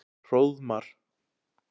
Hróðmar